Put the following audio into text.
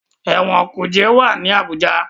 Ẹ̀wọ̀n kuje wá ní Abuja.